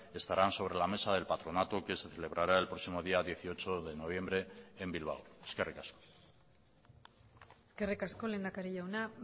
estarán sobre la mesa del patronato que se celebrará el próximo día dieciocho de noviembre en bilbao eskerrik asko eskerrik asko lehendakari jauna